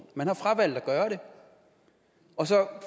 man har fravalgt at gøre det